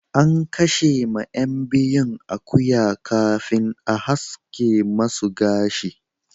An kashe ma yan biyun akuya kafin an haska masu gashi.